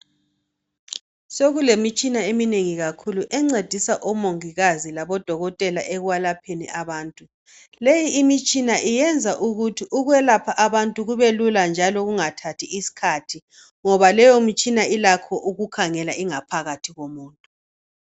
Sekulemtshina eminengi kakhulu encedisa omongikazi labodokotela ekwelapheni abantu. Leti imitshina iyenza ukuthi ukwelapha abantu kubelula njalo kungathathi isikhathi ngoba leyomisthina ilakho ukukhangela ingaphakathi yomuntu.